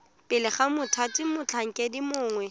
pele ga mothati motlhankedi mongwe